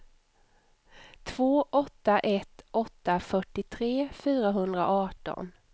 två åtta ett åtta fyrtiotre fyrahundraarton